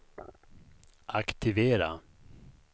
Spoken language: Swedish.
aktivera